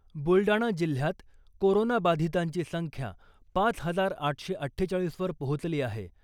बुलडाणा जिल्हयात कोरोनाबाधीतांची संख्या पाच हजार आठशे अठ्ठेचाळीस वर पोहोचली आहे .